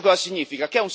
Questo cosa significa?